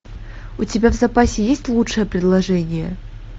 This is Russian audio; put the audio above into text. у тебя в запасе есть лучшее предложение